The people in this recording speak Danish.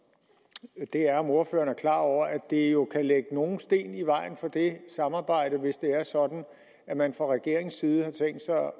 er om ordføreren er klar over at det jo kan lægge nogle sten i vejen for det samarbejde hvis det er sådan at man fra regeringens side har tænkt sig